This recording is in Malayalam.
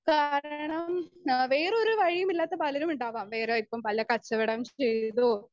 സ്പീക്കർ 2 കാരണം ആഹ് വേറൊരു വഴിയുമില്ലാത്ത പലരുമുണ്ടാവാം വേറാര്ക്കും പല കച്ചവടം ചെയ്തോ